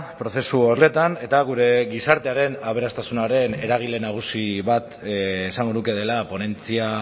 prozesu horretan eta gure gizartearen aberastasunaren eragile nagusi bat esango nuke dela ponentzia